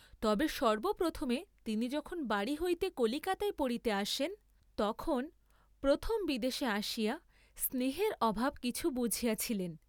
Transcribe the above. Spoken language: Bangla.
তবে সর্ব্বপ্রথমে তিনি যখন বাড়ী হইতে কলিকাতায় পড়িতে আসেন তখন, প্রথম বিদেশে আসিয়া স্নেহের অভাব কিছু বুঝিয়াছিলেন।